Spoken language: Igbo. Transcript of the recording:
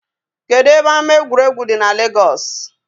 Kedụ ebe ama egwuregwu dị n Legọs?